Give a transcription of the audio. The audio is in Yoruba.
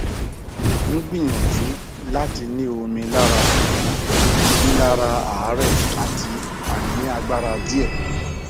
ngbiyanju lati ni omi lara ṣugbọn rilara aare ati ainiagbara diẹ